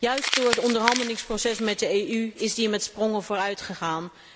Juist door het onderhandelingsproces met de Europese Unie is dat met sprongen vooruitgegaan.